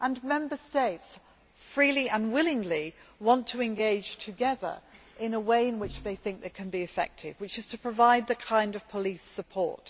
Member States freely and willingly want to engage together in a way in which they think they can be effective, which is to provide this kind of police support.